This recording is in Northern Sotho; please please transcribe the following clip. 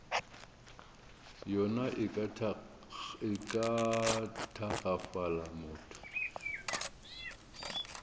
yona e ka tagafala motho